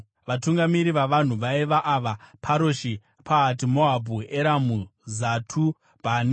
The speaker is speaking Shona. Vatungamiri vavanhu vaiva ava: Paroshi, Pahati-Moabhu, Eramu, Zatu, Bhani,